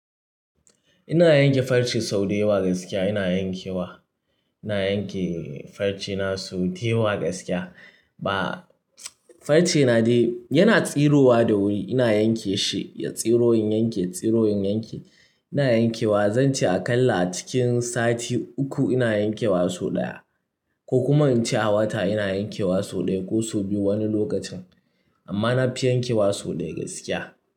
Ina yanke farce sau da yawa gaskiya ina yankewa. Ina yanke farce na sau daya gaskiya. Ba, farce na dai yana tsirowa da wuri. Ina yanke shi, ya tsiro in yanke, ya tsiro in yanke. Ina yankewa, zan ce aƙalla cikin sati uku ina yankewa sau ɗaya, ko kuma in ce a wata ina yankewa sau ɗaya ko sau biyu wani lokacin. Amma na fi yankewa sau ɗaya gaskiya.